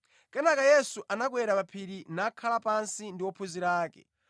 Kenaka Yesu anakwera pa phiri nakhala pansi ndi ophunzira ake.